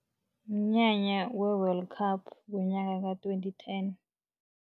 Mnyanya we-World Cup ngonyaka ka-twenty ten.